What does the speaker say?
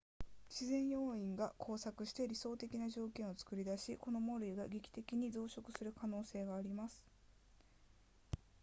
自然要因が交錯して理想的な条件を作り出しこの藻類が劇的に増殖する可能性があります